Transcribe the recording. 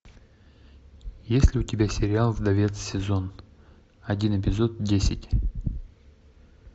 есть ли у тебя сериал вдовец сезон один эпизод десять